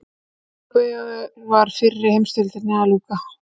Í Evrópu var fyrri heimsstyrjöldinni að ljúka.